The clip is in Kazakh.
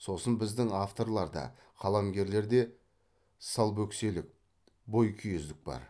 сосын біздің авторларда қаламгерлерде салбөкселік бойкүйездік бар